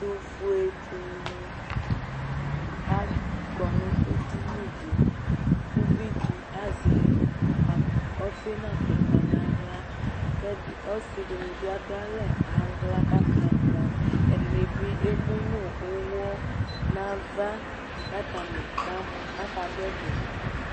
Ɛtufue dini akɔ nu edini di ku uvidi azɛ ɔfi nu atupa naɣla ɔsidini bi adu aɣla nalɛ kamɔ ɛdini bi emu nu uwɔ nava katani kamɔ katani kadu ɛdi